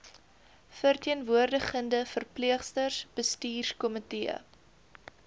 verteenwoordigende verpleegsters bestuurskomitee